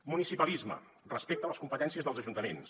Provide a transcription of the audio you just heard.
municipalisme respecte a les competències dels ajuntaments